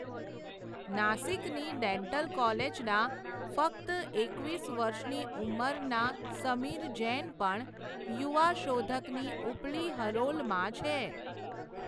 નાસીકની dental કોલેજના ફક્ત એકવીસ વર્ષની ઊંમરના સમીર જૈન પણ, યુવા શોધકની ઉપલી હરોલમાં છે.